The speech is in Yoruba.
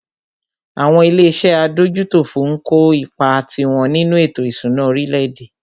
Àwọn ilé iṣé adójútòfò ń kó ipá tiwọn nínú ètò ìṣúná orílẹ̀-èdè.